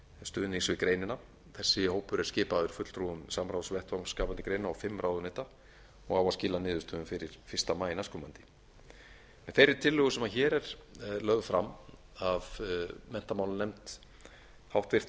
stuðnings við greinina þessi hópur er skipaður fulltrúum samráðsvettvangs skapandi greina og fimm ráðuneyta og á að skila niðurstöðum fyrir fyrsta maí næstkomandi með þeirri tillögu sem hér er lögð fram af háttvirtum menntamálanefnd